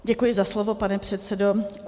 Děkuji za slovo, pane předsedo.